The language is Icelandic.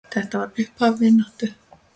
Þetta var upphaf vináttu okkar.